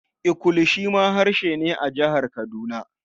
Ikulu shi ma harshe ne a Jihar Kaduna.